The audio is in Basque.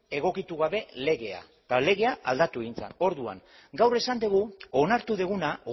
egokitu gabe legea eta legea aldatu egin zen orduan gaur esan dugu onartu duguna